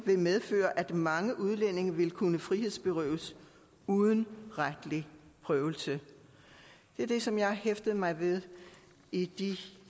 vil medføre at mange udlændinge vil kunne frihedsberøves uden retlig prøvelse det er det som jeg har hæftet mig ved i